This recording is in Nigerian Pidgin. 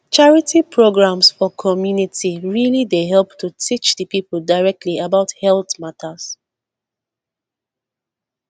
charity programs for community really dey help to teach the people directly about health matters